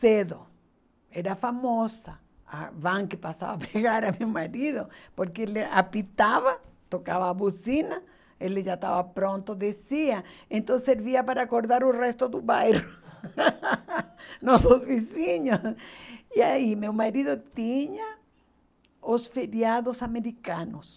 cedo, era famosa, a van que passava a pegar meu marido, porque ele apitava, tocava a buzina, ele já estava pronto, descia, então servia para acordar o resto do bairro, nossos vizinhos, e aí meu marido tinha os feriados americanos,